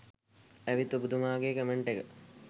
ඇවිත් ඔබතුමාගේ කමෙන්ට් එක